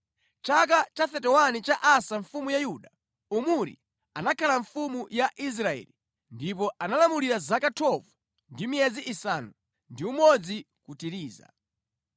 Mʼchaka cha 31 cha Asa mfumu ya Yuda, Omuri anakhala mfumu ya Israeli, ndipo analamulira zaka 12 ndi miyezi isanu ndi umodzi ku Tiriza.